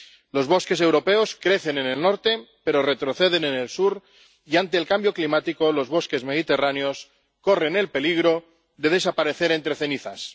Los bosques europeos crecen en el norte pero retroceden en el sur y, ante el cambio climático, los bosques mediterráneos corren el peligro de desaparecer entre cenizas.